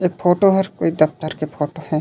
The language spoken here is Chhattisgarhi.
ए फोटो हर ए दफ्तर के फोटो हे।